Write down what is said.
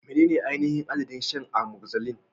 Menene ainihin adadin shan amoxicillin?